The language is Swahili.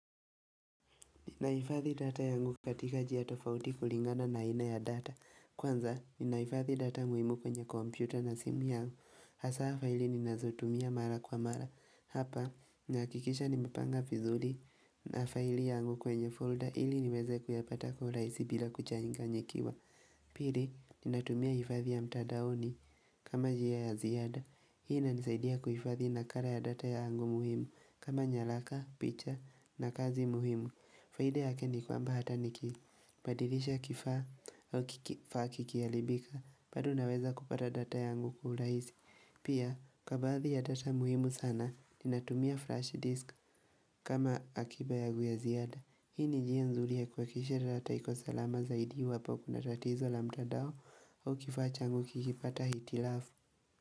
Ninahifadhi data yangu katika njia tofauti kulingana na aina ya data. Kwanza, ninahifadhi data muhimu kwenye kompyuta na simu yangu. Hasa faili ninazotumia mara kwa mara. Hapa, ninahakikisha nimepanga vizuri mafaili yangu kwenye folder ili niweze kuyapata kwa uraisi bila kuchanganyikiwa. Pili, ninatumia hifadhi ya mtandaoni kama njia ya ziada, Hii inanisaidia kuhifadhi nakara ya data ya yangu muhimu kama nyaraka, picha na kazi muhimu faida yake ni kwamba hata nikibadilisha kifaa au kifaa kikiharibika bado naweza kupata data ya yangu kwa urahisi Pia, kwa baadhi ya data muhimu sana, ninatumia flash disk kama akiba yangu ya ziada, Hii ni njia nzuri ya kuhakikisha data iko salama zaidi iwapo kuna tatizo la mtandao au kifaa changu kikipata hitilafu.